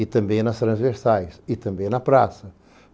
E também nas transversais, e também na praça.